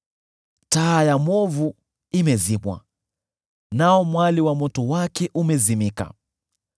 “Taa ya mwovu imezimwa, nao mwali wa moto wake umezimika.